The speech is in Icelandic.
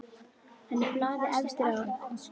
Hann er blaði efstur á.